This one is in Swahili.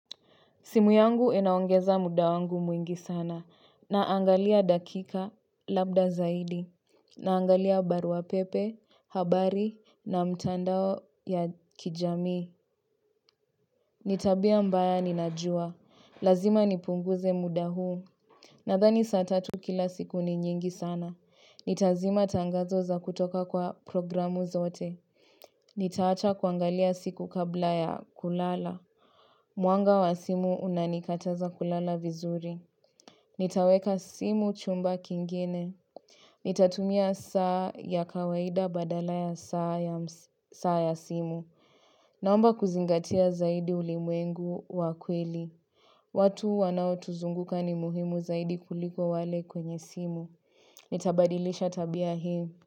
Simu yangu inaongeza muda wangu mwingi sana na angalia dakika labda zaidi na angalia barua pepe, habari na mtandao ya kijamii ni tabia mbaya ninajua. Lazima nipunguze muda huu. Nadhani saa tatu kila siku ni nyingi sana. Nitazima tangazo za kutoka kwa programu zote. Nitaacha kuangalia siku kabla ya kulala. Mwanga wa simu unanikataza kulala vizuri. Nitaweka simu chumba kingine. Nitatumia saa ya kawaida badala ya saa ya saa ya simu. Naomba kuzingatia zaidi ulimwengu wa kweli. Watu wanao tuzunguka ni muhimu zaidi kuliko wale kwenye simu. Nitabadilisha tabia hii.